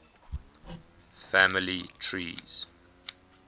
family trees